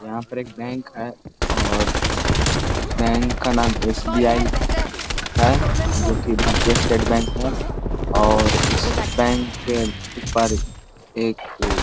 यहाँ पर एक बैंक है और इस बैंक का नाम का एस_बी_आई है जो की भारतीय स्टेट बैंक है और इस बैंक के ऊपर एक वे--